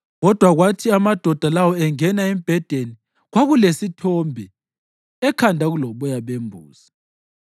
Kodwa kwathi amadoda lawo engena, embhedeni kwakulesithombe, ekhanda kuloboya bembuzi.